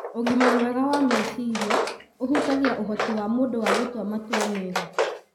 Ũgima mwega wa meciria ũhutagia ũhoti wa mũndũ wa gũtua matua mega